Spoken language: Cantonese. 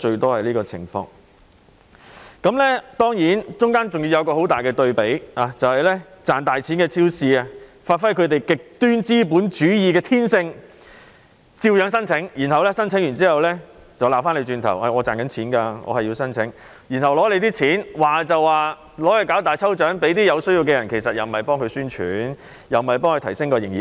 當然，過程中還出現強烈的對比，那便是賺大錢的超級市場發揮其極端資本主義的天性，照樣申請資助，申請後還卻指罵，表示他們賺錢仍可申請計劃，獲取資助後便說會為有需要的人舉行大抽獎，但其實也是為超級市場宣傳，提升營業額。